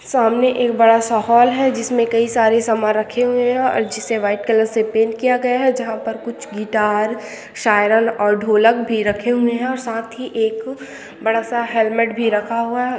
सामने एक बड़ा सा हॉल है जिसमें कई सारे सामान रखे हुए है और जिसे व्हाइट कलर से पेंट किया गया है जहां पर कुछ गिटार शायरन और ढोलक भी रखे हुए है और साथ ही एक बड़ा सा हेलमेट भी रखा हुआ है।